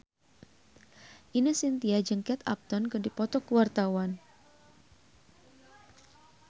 Ine Shintya jeung Kate Upton keur dipoto ku wartawan